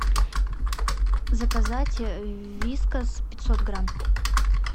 заказать вискас пятьсот грамм